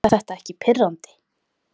Er þetta ekki pirrandi?